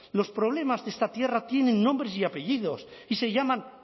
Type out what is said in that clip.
los problemas de esta tierra tienen nombres y apellidos y se llaman